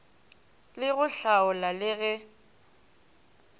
le go hlaola le go